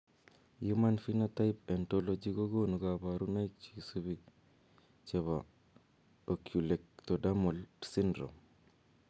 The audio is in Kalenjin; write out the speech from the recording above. Human phenotype ontology kokonu koborunoik cheisubi chebo oculoectodermal syndrome